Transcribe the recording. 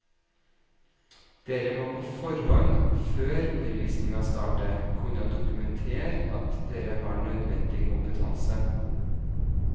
Dere må på forhånd, før undervisningen starter, kunne dokumentere at dere har nødvendig kompetanse.